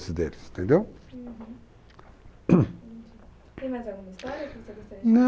deles, entendeu? Uhum. entendi. Tem mais alguma história que você gostaria de contar? Não...